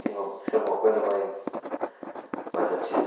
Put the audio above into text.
Tinha que ser alguma coisa mais, mais ativa.